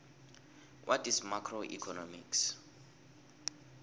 what is macroeconomics